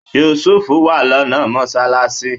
Yusuf wà lọ́nà mọ́sálásí